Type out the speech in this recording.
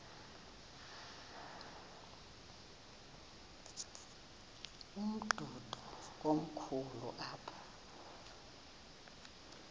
umdudo komkhulu apha